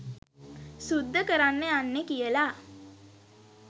සුද්ද කරන්න යන්නෙ කියලා.